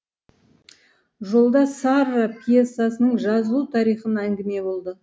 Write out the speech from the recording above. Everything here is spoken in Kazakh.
жолда сарра пьесасының жазылу тарихын әңгіме болды